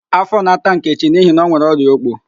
Afọ na-ata Nkechi n'ihi na onwere ọrịa ókpó